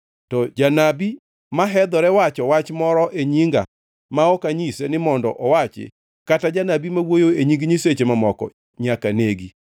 To janabi mahedhore wacho wach moro amora e nyinga ma ok anyise ni mondo owachi kata janabi ma wuoyo e nying nyiseche mamoko nyaka negi.